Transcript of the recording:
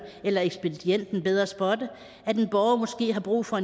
eller ekspedienten bedre spotte at en borger måske har brug for